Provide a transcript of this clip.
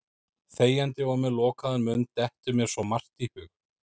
Þegjandi og með lokaðan munn dettur mér svo margt í hug.